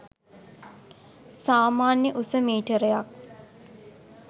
සාමාන්‍ය උස මීටරයක්